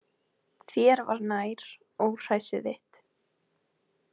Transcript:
Þér var nær, óhræsið þitt.